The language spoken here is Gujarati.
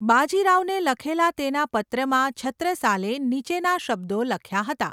બાજી રાવને લખેલા તેના પત્રમાં છત્રસાલે નીચેના શબ્દો લખ્યા હતા.